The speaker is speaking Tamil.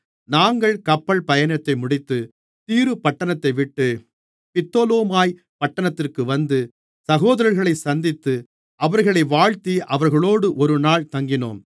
நாங்கள் கப்பல் பயணத்தை முடித்து தீரு பட்டணத்தைவிட்டு பித்தொலோமாய் பட்டணத்திற்கு வந்து சகோதரர்களைச் சந்தித்து அவர்களை வாழ்த்தி அவர்களோடு ஒருநாள் தங்கினோம்